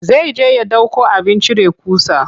Zai je ya ɗauko abin cire ƙusa.